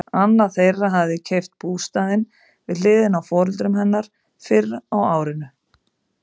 Annar þeirra hafði keypt bústaðinn við hliðina á foreldrum hennar fyrr á árinu.